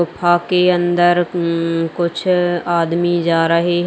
गुफा के अंदर उम्म्म कुछ आदमी जा रहे है।